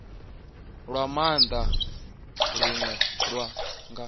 lwa maanda lune lwa nga